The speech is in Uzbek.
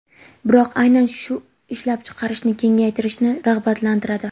Biroq aynan shu ishlab chiqarishni kengaytirishni rag‘batlantiradi.